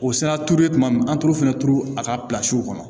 O sera turulen tuma min na an t'olu fɛnɛ turu a ka kɔnɔ